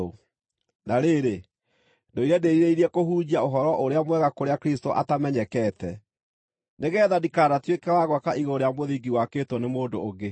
Na rĩrĩ, ndũire ndĩĩrirĩirie kũhunjia Ũhoro-ũrĩa-Mwega kũrĩa Kristũ atamenyekete, nĩgeetha ndikanatuĩke wa gwaka igũrũ rĩa mũthingi wakĩtwo nĩ mũndũ ũngĩ.